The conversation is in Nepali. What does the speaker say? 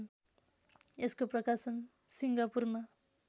यसको प्रकाशन सिङ्गापुरमा